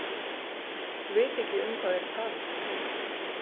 Vita ekki um hvað þeir tala.